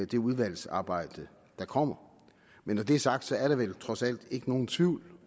det udvalgsarbejde der kommer men når det er sagt er der vel trods alt ikke nogen tvivl